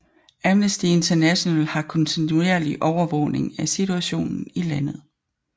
Amnesty International har kontinuerlig overvågning af situationen i landet